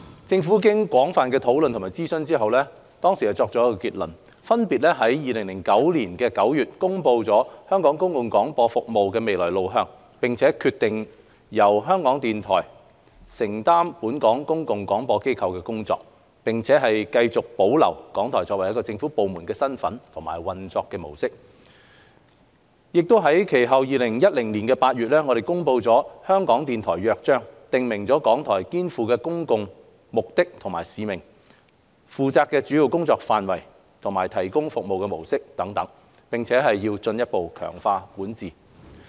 政府經廣泛討論及諮詢後作出結論，分別於2009年9月公布香港公共廣播服務的未來路向，決定由香港電台承擔本港公共廣播機構的工作，並繼續保留港台作為一個政府部門的身份和運作模式，並其後於2010年8月公布《香港電台約章》，訂明港台肩負的公共目的及使命、負責的主要工作範圍及提供服務的模式等，並進一步強化管治。